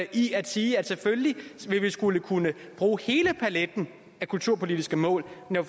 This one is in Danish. i at sige at selvfølgelig skal vi kunne bruge hele paletten af kulturpolitiske mål når